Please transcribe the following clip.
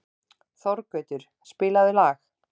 Þorgautur, spilaðu lag.